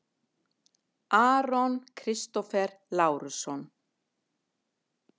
Aron Kristófer Lárusson